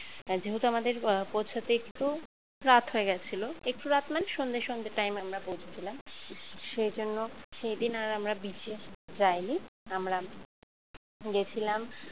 যেহেতু আমাদের পৌঁছাতে একটু রাত হয়ে গেছিল একটু রাত মানে সন্ধ্যে সন্ধ্যে time এ আমরা পৌঁছেছিলাম সেজন্য সেদিন আর আমরা beach এ যায়নি আমরা গেছিলাম